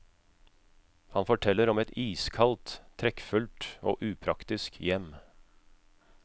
Han forteller om et iskaldt, trekkfullt og upraktisk hjem.